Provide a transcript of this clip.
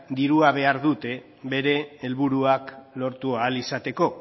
dirua behar dute bere helburuak lortu ahal izateko